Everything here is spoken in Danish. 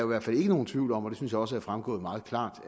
hvert fald ikke nogen tvivl om og det synes jeg også er fremgået meget klart